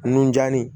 Nun janni